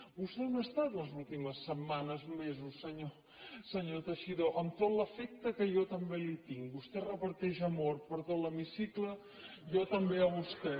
vostè on ha estat les últimes setmanes mesos senyor teixidó amb tot l’afecte que jo també li tinc vostè reparteix amor per tot l’hemicicle jo també a vostè